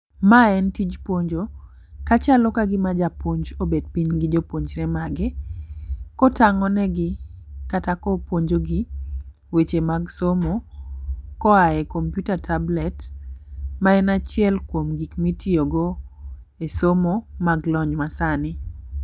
Mae en tij puonjo ka chalo kagima japuonj obet piny gi jopuonjre magi kotang'o ne gi kata kopuonjo gi weche mag somo koae komputa tablet ma en achiel kuom gik mitiyo go e somo mag lony ma sani.